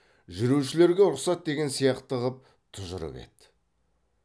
жүрушілерге рұқсат деген сияқты қып тұжырып еді